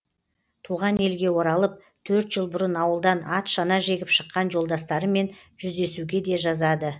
туған елге оралып төрт жыл бұрын ауылдан ат шана жегіп шыққан жолдастарымен жүздесуге де жазады